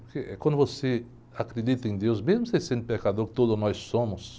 Porque quando você acredita em deus, mesmo você sendo pecador, que todos nós somos...